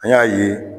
An y'a ye